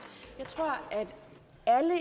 og at